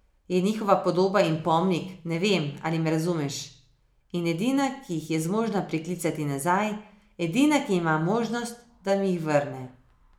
Je njihova podoba in pomnik, ne vem, ali me razumeš, in edina, ki jih je zmožna priklicati nazaj, edina, ki ima možnost, da mi jih vrne.